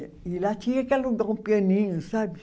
E lá tinha que alugar um pianinho, sabe?